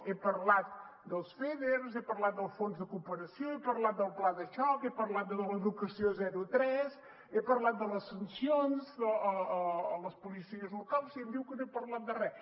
he parlat dels feders he parlat del fons de cooperació he parlat del pla de xoc he parlat de l’educació zero tres he parlat de les sancions a les policies locals i em diu que no he parlat de res